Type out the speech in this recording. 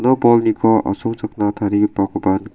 ua bolniko asongchakna tarigipakoba nika.